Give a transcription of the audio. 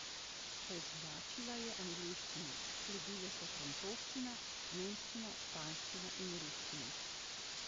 Prednjačila je angleščina, sledile so francoščina, nemščina, španščina in ruščina.